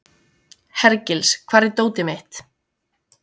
Hergils, hvar er dótið mitt?